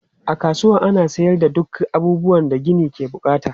A kasuwan kayan gini ana sayar da duk abubuwan da gini ke bukata.